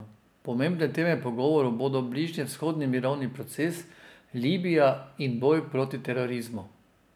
Pomembne teme pogovorov bodo bližnjevzhodni mirovni proces, Libija in boj proti terorizmu.